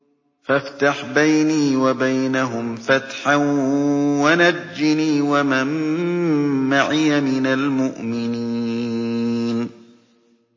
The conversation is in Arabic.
فَافْتَحْ بَيْنِي وَبَيْنَهُمْ فَتْحًا وَنَجِّنِي وَمَن مَّعِيَ مِنَ الْمُؤْمِنِينَ